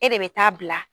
E de bɛ taa bila